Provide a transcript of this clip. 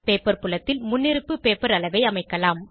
paper புலத்தில் முன்னிருப்பு paper அளவை அமைக்கலாம்